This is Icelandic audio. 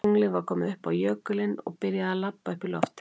Tunglið var komið upp á jökulinn og byrjaði að labba upp í loftið.